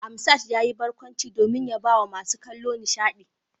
Asmad yayi barkwanci domin ya bawa masu kallo nishadi.